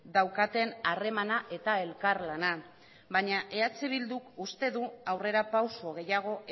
daukaten harremana eta elkarlana baina eh bilduk uste du aurrerapauso gehiago